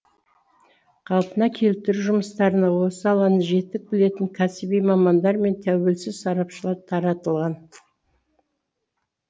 қалпына келтіру жұмыстарына осы саланы жетік білетін кәсіби мамандар мен тәуелсіз сарапшылар таратылған